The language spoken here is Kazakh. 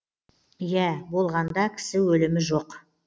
иә болғанда кісі өлімі жоқ